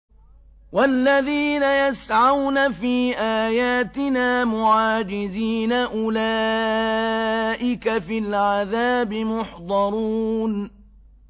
وَالَّذِينَ يَسْعَوْنَ فِي آيَاتِنَا مُعَاجِزِينَ أُولَٰئِكَ فِي الْعَذَابِ مُحْضَرُونَ